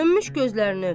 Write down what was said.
Sönmüş gözlərini öpər.